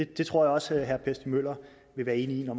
det tror jeg også herre per stig møller vil være enig i når